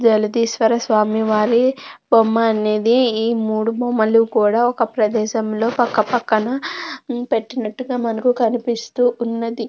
జలదీస్వర స్వామి వారి బొమ్మ అనేది ఈ మూడూ బొమ్మల్ని కూడ ఒక ప్రదేశం లో పక్క పక్కన పెట్టినట్టుగా మనకు కనిపిస్తూ ఉన్నది.